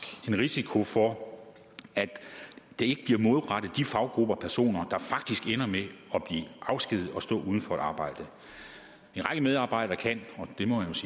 en risiko for at de ikke bliver målrettet de faggrupper og personer der faktisk ender med at blive afskediget og stå uden arbejde en række medarbejdere kan